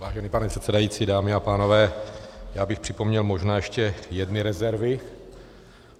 Vážený pane předsedající, dámy a pánové, já bych připomněl možná ještě jedny rezervy.